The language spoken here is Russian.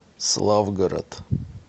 славгород